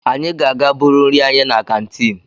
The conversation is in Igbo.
Anyị ga-aga buru nri anyị na kantiin.